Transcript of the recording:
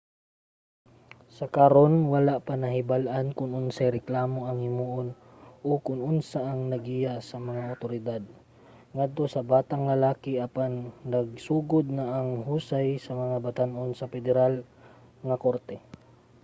sa karon wala pa nahibal-an kon unsay reklamo ang himuon o kon unsa ang naggiya sa mga awtoridad ngadto sa batang lalaki apan nagsugod na ang husay sa mga batan-on sa pederal nga korte